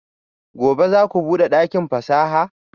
Gobe ​​zaku bude dakin fasaha?